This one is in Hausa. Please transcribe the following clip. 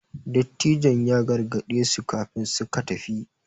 Dattijon ya gargade su kafin suka tafi